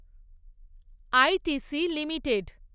I T C limited